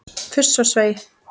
Fuss og svei!